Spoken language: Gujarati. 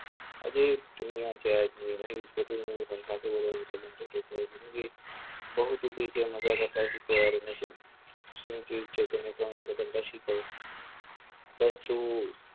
બસ તું આજે જ અહીંયા છે, આજની મહિ બહુત હો ગયી તેરા મજાક બસ તું